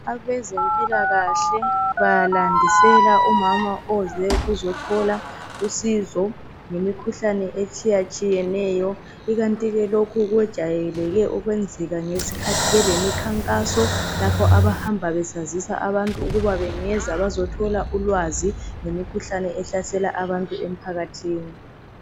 Abezempilakahle balandisela umama oze ukuze ukuzothola usizo ngemikhuhlane etshiyatshiyeneyo. Ikanti ke lokhu kwejayeleke ukwenzeka ngesikhathi belemikhankaso lapha abahamba befundisa abantu ukuba bangeza bazothola ulwazi ngemikhuhlane ehlasela abantu emphakathini